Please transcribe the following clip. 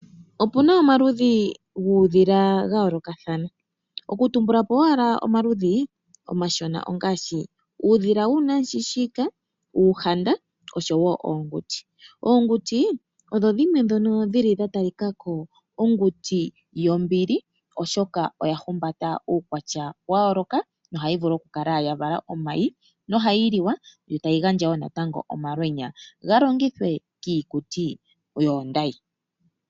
Opu na omaludhi guudhila ga yoolokathana. Okutumbula po owala omaludhi omashona ongaashi uudhila woonamushiishika, uuhanda oshowo oonguti. Oonguti odho dhimwe ndhono dha talika ko onguti yombili, oshoka oya humbata uukwatya wa yooloka nohayi vulu okukala a vala omayi nohayi liwa yo tayi gandjawo natango omalwenya ga longithwe kiikuti yoondayi.